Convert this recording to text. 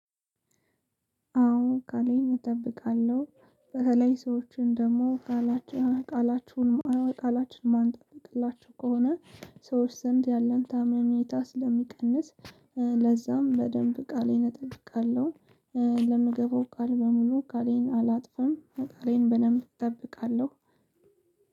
አዎ ቃሌን እጠብቃለሁ። በተለይ ሰዎችን ደግሞ ቃላችን ቃላችሁን ቃላችን የማንጠብቅላቸው ከሆነ ሰዎች ዘንድ ያለን ታመኔታ ስለሚቀንስ ለዛም በደንብ ቃሌን እጠብቃለሁ። ለምገባው ቃል በሙሉ ቃሌን አላጥፍም፣ ቃሌን በደንብ እጠብቃለሁ።